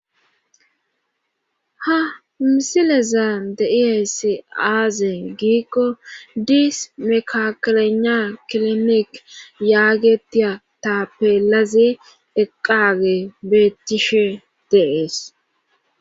Ha misilezan de iayssi aaze giikko diis mekakolena kilinik yaagetia ta peelaze eqqage beettishe de'ees.